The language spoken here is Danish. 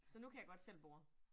Så nu kan jeg godt selv bore